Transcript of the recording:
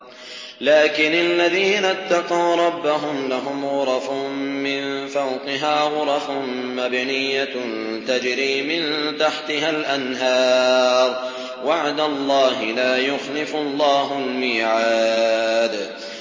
لَٰكِنِ الَّذِينَ اتَّقَوْا رَبَّهُمْ لَهُمْ غُرَفٌ مِّن فَوْقِهَا غُرَفٌ مَّبْنِيَّةٌ تَجْرِي مِن تَحْتِهَا الْأَنْهَارُ ۖ وَعْدَ اللَّهِ ۖ لَا يُخْلِفُ اللَّهُ الْمِيعَادَ